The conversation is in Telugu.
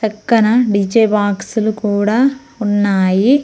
పక్కన డీ_జే బాక్సులు కూడా ఉన్నాయి.